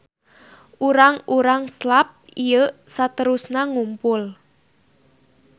Urang-urang Slav ieu saterusna ngumpul.